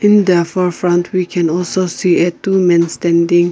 in the above front we can also see a two men standing.